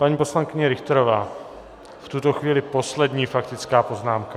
Paní poslankyně Richterová - v tuto chvíli poslední faktická poznámka.